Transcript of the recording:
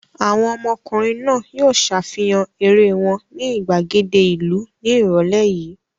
Àwọn ọmọkùnrin náà yóò ṣàfihàn eré wọn ní ìgbàgede ìlú ní ìrọ́lẹ́ yìí!